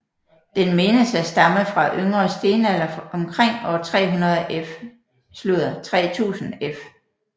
Den menes at stamme fra yngre stenalder omkring år 3000 f